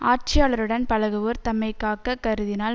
ஆட்சியாளருடன் பழகுவோர் தம்மை காக்கக் கருதினால்